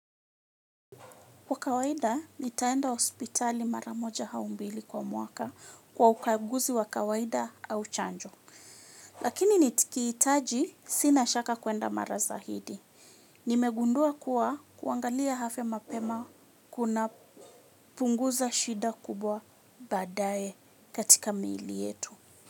Kwa kawaida, nitaenda hospitali maramoja au mbili kwa mwaka kwa ukaguzi wa kawaida au chanjo. Lakini nikiitaji, sina shaka kuenda mara zaidi. Nimegundua kuwa kuangalia afya mapema kunapunguza shida kubwa badae katika miili yetu.